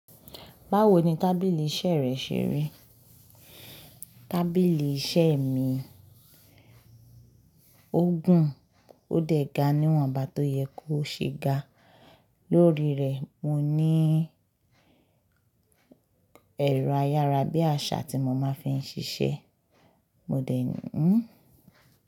Báwo ni tábìlì iṣẹ́ rẹ ṣe rí? Tábìlì iṣẹ́ mi ó gùn, ó dẹ̀ ga níwọ̀n, bà tó yẹ kó ṣe ga. Lórí rẹ̀, mo ní ẹ̀rọ ayára bí àṣá tí mo máa ń fi ń ṣiṣẹ́. Mo dẹ̀ ń.